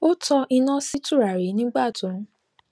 ó tan iná sí tùràrí nígbà tó ń